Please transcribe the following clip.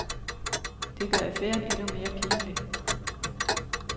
Det gør affæren endnu mere pinlig.